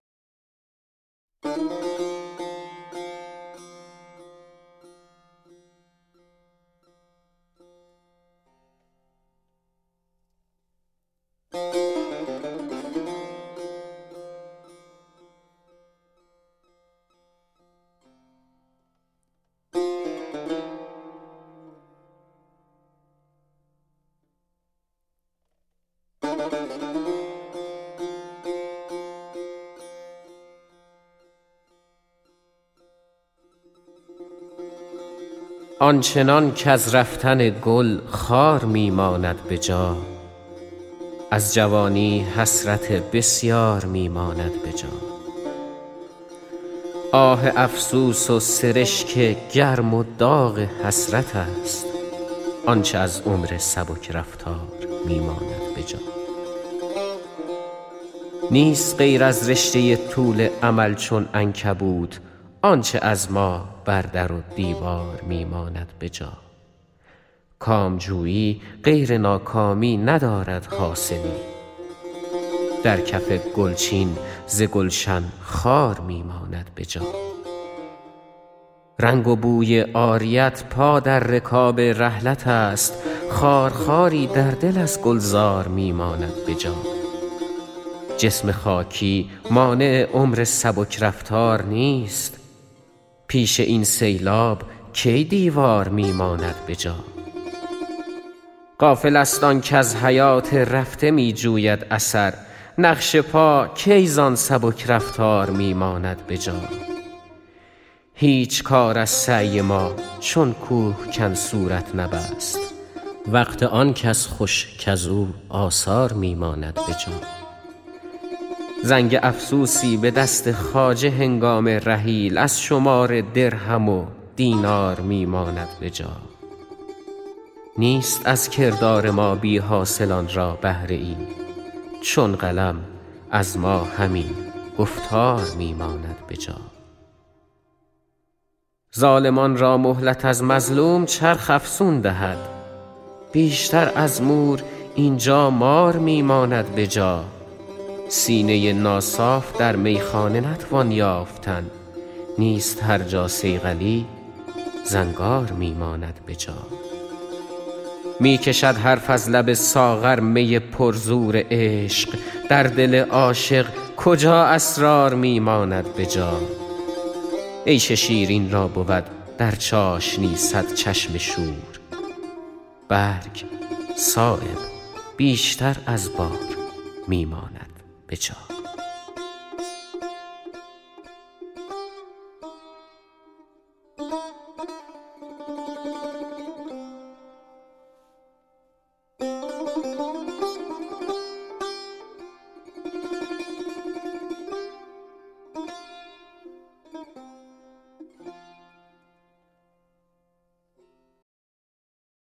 آنچنان کز رفتن گل خار می ماند به جا از جوانی حسرت بسیار می ماند به جا آه افسوس و سرشک گرم و داغ حسرت است آنچه از عمر سبک رفتار می ماند به جا نیست غیر از رشته طول امل چون عنکبوت آنچه از ما بر در و دیوار می ماند به جا کامجویی غیر ناکامی ندارد حاصلی در کف گل چین ز گلشن خار می ماند به جا رنگ و بوی عاریت پا در رکاب رحلت است خار خواری در دل از گلزار می ماند به جا جسم خاکی مانع عمر سبک رفتار نیست پیش این سیلاب کی دیوار می ماند به جا غافل است آن کز حیات رفته می جوید اثر نقش پا کی زان سبک رفتار می ماند به جا هیچ کار از سعی ما چون کوهکن صورت نبست وقت آن کس خوش کز او آثار می ماند به جا زنگ افسوسی به دست خواجه هنگام رحیل از شمار درهم و دینار می ماند به جا نیست از کردار ما بی حاصلان را بهره ای چون قلم از ما همین گفتار می ماند به جا ظالمان را مهلت از مظلوم چرخ افزون دهد بیشتر از مور اینجا مار می ماند به جا سینه ناصاف در میخانه نتوان یافتن نیست هر جا صیقلی زنگار می ماند به جا می کشد حرف از لب ساغر می پر زور عشق در دل عاشق کجا اسرار می ماند به جا عیش شیرین را بود در چاشنی صد چشم شور برگ صایب بیشتر از بار می ماند به جا